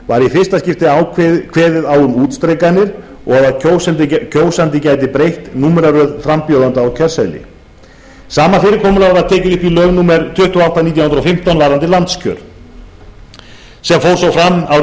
var í fyrsta skipti kveðið á um útstrikanir og að kjósandi gæti breytt númeraröð frambjóðenda á kjörseðli sama fyrirkomulag var tekið upp í lög númer tuttugu og átta nítján hundruð og fimmtán varðandi landskjör sem fór svo fram árið